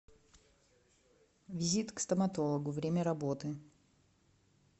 визит к стоматологу время работы